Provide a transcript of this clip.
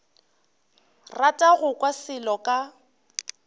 rata go kwa selo ka